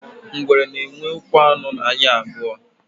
ngwere na enwe ụkwụ ano na anya abuo